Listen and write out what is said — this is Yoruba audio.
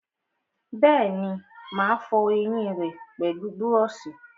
Bẹ́ẹ̀ni, mà á fọ ẹyìn rẹ pẹlú búrọ̀sì